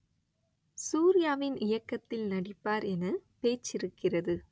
சூர்யாவின் இயக்கத்தில் நடிப்பார் என பேச்சிருக்கிறது